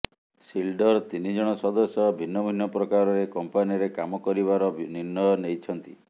ସିଲ୍ଡର ତିନି ଜଣ ସଦସ୍ୟ ଭିନ୍ନ ଭିନ୍ନ ପ୍ରକାରରେ କମ୍ପାନିରେ କାମ କରିବାର ନିର୍ଣ୍ଣୟ ନେଇଛନ୍ତି